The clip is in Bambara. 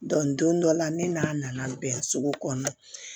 don dɔ la ne n'a nana bɛn sugu kɔnɔna na